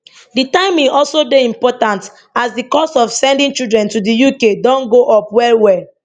di timing also dey important as di cost of sending children to di uk don go up wellwell